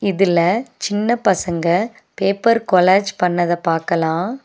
இதுல சின்ன பசங்க பேப்பர் கொலேஜ் பண்ணத பாக்கலா.